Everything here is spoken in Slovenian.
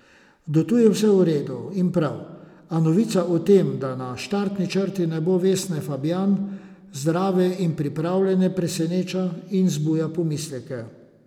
Do tu vse v redu in prav, a novica o tem, da na štartni črti ne bo Vesne Fabjan, zdrave in pripravljene, preseneča in zbuja pomisleke.